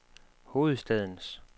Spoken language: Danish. hovedstadens